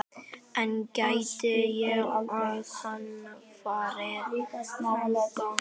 En gæti hann farið þangað?